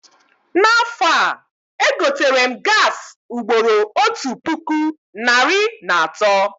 Na afọ a, egoterem gaasị ugboro otu puku narị na atọ